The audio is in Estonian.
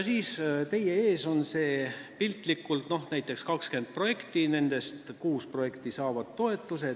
Siis on teie ees piltlikult näiteks 20 projekti, nendest kuus saavad toetuse.